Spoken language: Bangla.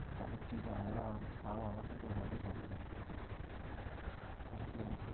তাহলে তুই তো আরো আমার থেকে তো ভালোই number আনবি তুই আমি তো